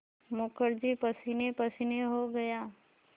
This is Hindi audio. मुखर्जी पसीनेपसीने हो गया